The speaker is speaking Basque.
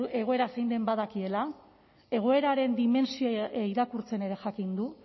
egoera zein den badakiela egoeraren dimentsioa irakurtzen ere jakin du